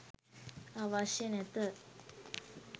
අවශ්‍ය නැත.